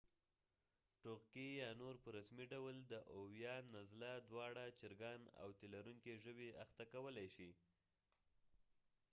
ټوغکي یا نور په رسمي ډول د اويوان نزله دوانړه چرګان او تی لرونکي ژوي اخته کولی شي